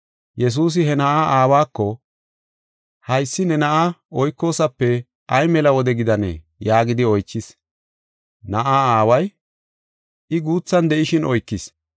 Yesuusi he na7aa aawako, “Haysi ne na7aa oykoosape ay mela wode gidanee?” yaagidi oychis. Na7aa aaway, “I guuthan de7ishin oykis.